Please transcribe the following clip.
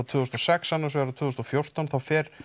tvö þúsund og sex annars vegar og tvö þúsund og fjórtán þá fer